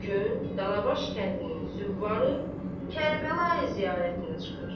Bu gün Danabaş kəndinin züvvarı Kərbəlayi ziyarətinə çıxır.